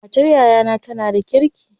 Matar yayana tana da kirki.